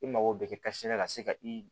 I mago bɛ kɛ la ka se ka i